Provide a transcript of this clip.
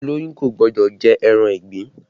Olóyún kò gbọ́dọ̀ jẹ ẹran ìgbín